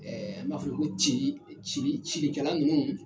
Ɛɛ an b'a f'u ye ko cili cikɛla nunnu